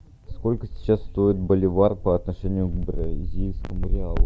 сколько сейчас стоит боливар по отношению к бразильскому реалу